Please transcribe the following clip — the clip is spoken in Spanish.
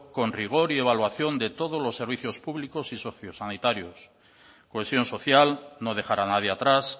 con rigor y evaluación de todos los servicios públicos y sociosanitarios cohesión social no dejar a nadie atrás